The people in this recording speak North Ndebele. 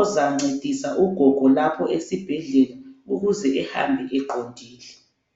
ozancedisa ugogo lapho esibhedlela ukuze ehambe eqondile.